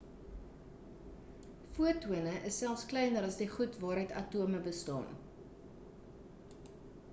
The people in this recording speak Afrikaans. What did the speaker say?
fotone is selfs kleiner as die goed waaruit atome bestaan